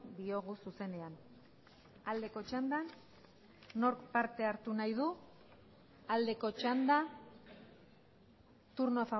diogu zuzenean aldeko txandan nork parte hartu nahi du aldeko txanda turno